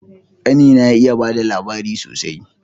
Kani na ya iya bada labari sosai